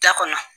Da kɔnɔ